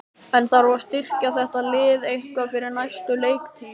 En þarf að styrkja þetta lið eitthvað fyrir næstu leiktíð?